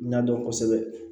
N y'a dɔn kosɛbɛ